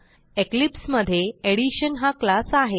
Eclipse मधे addition हा class आहे